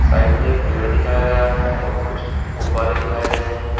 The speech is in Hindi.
साइड में एक पेड़ दिखाया गया है और कुछ गुब्बारे दिखाए गए हैं।